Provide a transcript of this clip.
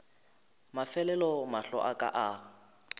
mafelelo mahlo a ka a